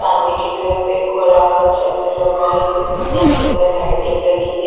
सामने की तरफ एक गोलाकार चक्र लगा है जिसमें बहोत सुंदर लाइटिंग लगी हैं।